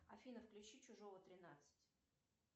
афина включи чужого тринадцать